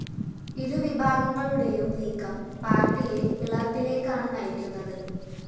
ഇരുവിഭാഗങ്ങളുടെയും നീക്കം പാര്‍ട്ടിയെ പിളര്‍പ്പിലേക്കാണ്‌ നയിക്കുന്നത്‌